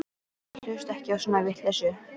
Ég hlusta ekki á svona vitleysu.